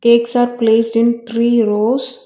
cakes are placed in three rows.